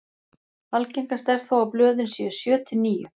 algengast er þó að blöðin séu sjö til níu